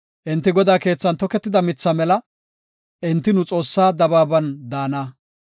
Enti Godaa keethan toketida mitha mela; enti nu Xoossaa dabaaban daana.